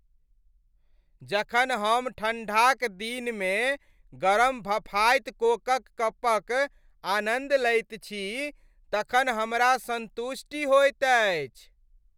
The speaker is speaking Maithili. जखन हम ठण्ढा क दिन मे गरम भफाइत कोक क कपक आनन्द लैत छी तखन हमरा सन्तुष्टि होइत अछि।